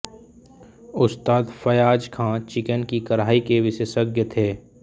उस्ताद फ़याज़ खां चिकन की कढाई के विशेषज्ञ थे